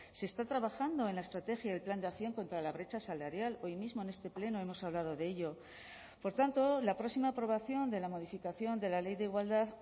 se está trabajando en la estrategia del plan de acción contra la brecha salarial hoy mismo en este pleno hemos hablado de ello por tanto la próxima aprobación de la modificación de la ley de igualdad